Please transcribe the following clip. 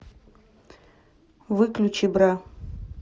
выключи бра